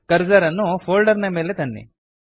cursor ಅನ್ನು folder ನ ಮೇಲೆ ತನ್ನಿ